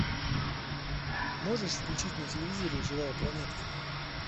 можешь включить на телевизоре живая планета